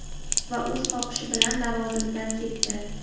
Va o‘z xohishi bilan lavozimidan ketdi.